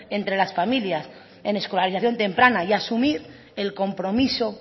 entre las familias en escolarización temprana y asumir el compromiso